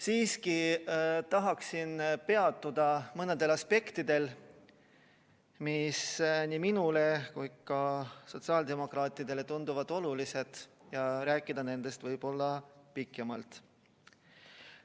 Siiski tahaksin peatuda mõnel aspektil, mis nii minule kui ka sotsiaaldemokraatidele tunduvad olulised, ja rääkida nendest võib-olla pikemalt.